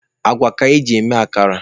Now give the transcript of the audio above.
Agwa ka eji eme akara.